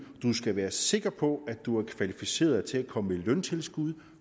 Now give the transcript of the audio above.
du skal være sikker på at du er kvalificeret til at komme i løntilskud